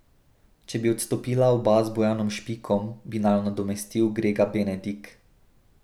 Če bi odstopila oba z Bojanom Špikom, bi naju nadomestil Grega Benedik.